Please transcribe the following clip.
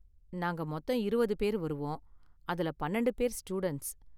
நாங்க மொத்தம் இருவது பேர் வருவோம், அதுல பன்னெண்டு பேர் ஸ்டூடண்ட்ஸ்